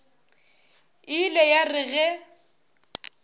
e ile ya re ge